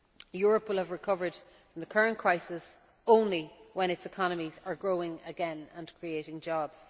Europe will have recovered from the current crisis only when its economies are growing again and creating jobs.